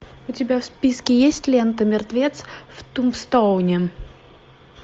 у тебя в списке есть лента мертвец в тумбстоуне